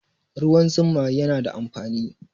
Ruwan zuma yana da amfani